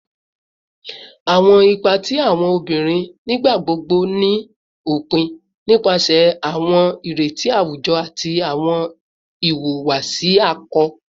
Awọn ipa ti awọn obinrin nigbagbogbo ni opin nipasẹ awọn ireti awujọ ati awọn iwuwasi akọ